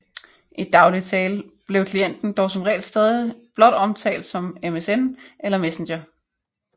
I daglig tale blev klienten dog som regel stadig blot omtalt som MSN eller Messenger